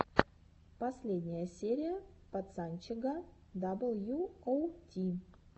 последняя серия пацанчега дабл ю оу ти